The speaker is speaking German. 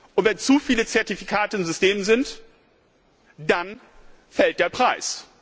Und wenn zu viele Zertifikate im System sind, dann fällt der Preis.